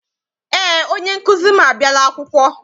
Eé, onye nkụzi m abiala akwụkwọ.